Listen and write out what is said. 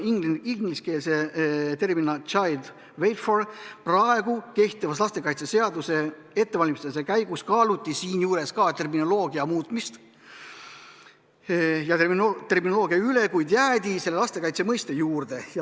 Kehtiva lastekaitseseaduse ettevalmistamise käigus kaaluti ka terminoloogia muutmist, kuid jäädi lastekaitse mõiste juurde.